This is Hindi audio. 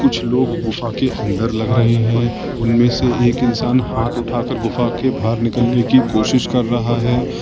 कुछ लोग गुफा के अंदर लग रहे हैं उनमें से एक इंसान हाथ उठाकर गुफा के बाहर निकालने की कोशिश कर रहा है।